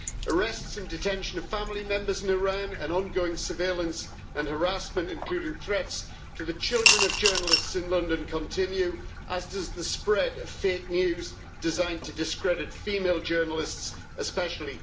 Arrests and detention of family members in Iran and ongoing surveillance and harassment including threats to the children of journalists in London continue, as does the spread of fake news designed to discredit female journalists especially.